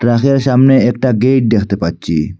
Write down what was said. Truck -এর সামনে একটা গেইট দেখতে পাচ্চি।